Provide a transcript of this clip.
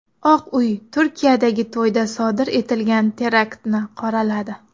Oq uy Turkiyadagi to‘yda sodir etilgan teraktni qoraladi.